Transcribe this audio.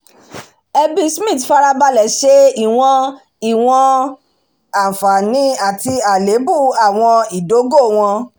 ẹbí smith farabalẹ̀ ṣe ìwọ̀n ìwọ̀n àǹfààní àti àléébù àwọn ìdógò wọn